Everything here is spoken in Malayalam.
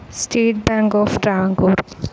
state bank of Travancore